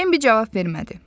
Bambi cavab vermədi.